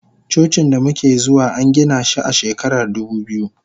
Cocin damuke zuwa angina shi a shekarar dubu biyu.